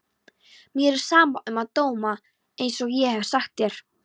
Mér er sama um dóma einsog ég hef sagt þér.